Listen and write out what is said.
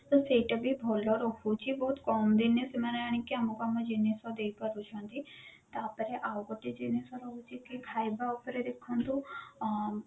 ତ ସେଇଟା ବି ଭଲ ରହୁଛି ବହୁତ କମ ଦିନରେ ସେମାନେ ଆଣିକିରି ଆମକୁ ଆମ ଜିନିଷ ଦେଇପାରୁଛନ୍ତି ତ ପରେ ଆଉ ଗୋଟେ ଜିନିଷ ରହୁଛି କି ଖାଇବା ଉପେର ଦେଖନ୍ତୁ ଆଁ